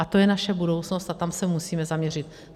A to je naše budoucnost a tam se musíme zaměřit.